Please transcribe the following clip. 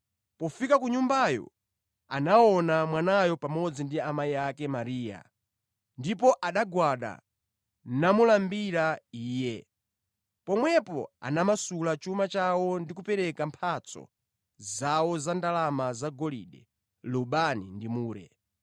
Pofika ku nyumbayo, anaona mwanayo pamodzi ndi amayi ake Mariya, ndipo anagwada namulambira Iye. Pomwepo anamasula chuma chawo ndi kupereka mphatso zawo za ndalama zagolide, lubani ndi mure.